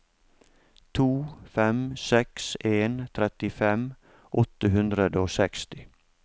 to fem seks en trettifem åtte hundre og seksti